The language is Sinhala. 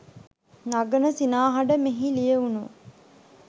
නගන සිනාහඬ මෙහි ලියවුණු